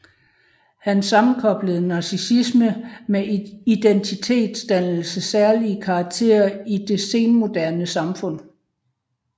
Han sammenkoblede narcissisme med identitetsdannelsens særlige karakter i det senmoderne samfund